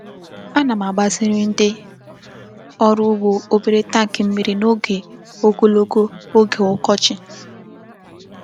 Ana m agbaziri ndị ọrụ ugbo obere tank mmiri n'oge ogologo oge ọkọchị.